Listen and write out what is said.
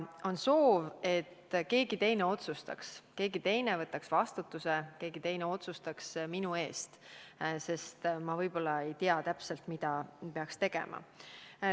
On soov, et keegi teine otsustaks ja võtaks vastutuse minu eest, sest võib-olla ei tea ma täpselt, mida peaks tegema.